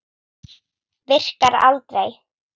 Virkar aldrei.